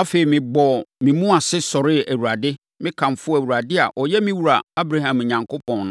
Afei, mebɔɔ me mu ase sɔree Awurade. Mekamfoo Awurade a ɔyɛ me wura, Abraham Onyankopɔn,